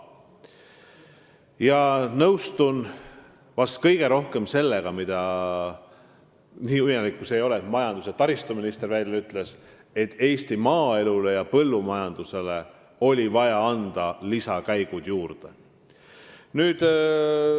Ma nõustun vahest kõige rohkem sellega : Eesti maaelule ja põllumajandusele oli vaja anda lisakäigud juurde.